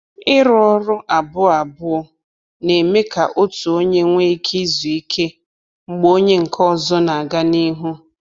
Ịrụ ọrụ abụọ abụọ na-eme ka otu onye nwee ike izu ike mgbe onye nke ọzọ na-aga n’ihu.